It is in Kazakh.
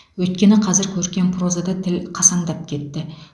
өйткені қазір көркем прозада тіл қасаңдап кетті